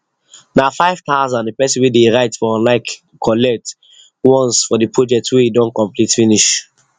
na 5000 the person wey dey write for online collect once for the project wey e don complete finish